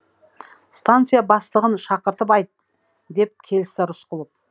станция бастығын шақыртып айт деп келісті рысқұлов